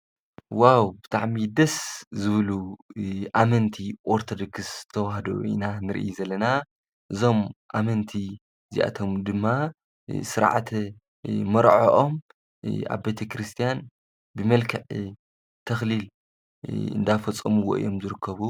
ዋው ብታዕሚ ደስ ዝብሉ ኣመንቲ ወርተድክሥ ተውሃዶ ኢና ንርኢ ዘለና እዞም ኣመንቲ እዚኣቶም ድማ ሥርዓተ መርዐኦም ኣብ ቤተ ክርስቲያን ብመልከዕ ተኽሊል እንዳፈጾምዎ እዮም ዙርከቡ